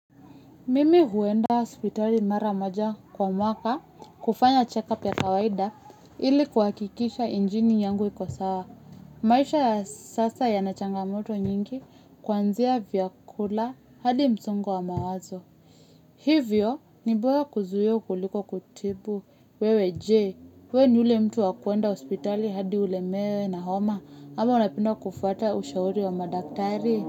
Mimi huenda hospitali mara maja kwa mwaka kufanya check-up ya kawaida ili kuhakikisha injini yangu ikosawa. Maisha sasa ya nachanga moto nyingi kwanzia vyakula hadi msongo wa mawazo. Hivyo nibora kuzuia kuliko kutibu. Wewe je, we ni yule mtu wakuenda hospitali hadi ulemewe na homa ama unapenda kufuata ushauri wa madaktari.